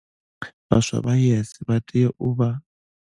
Vhaswa vha YES vha tea u vha.